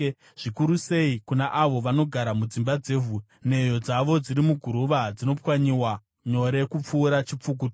zvikuru sei kuna avo vanogara mudzimba dzevhu, nheyo dzavo dziri muguruva, dzinopwanyiwa nyore kupfuura chipfukuto!